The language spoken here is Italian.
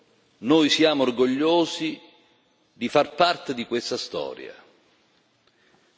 E ha aggiunto Noi siamo orgogliosi di far parte di questa storia.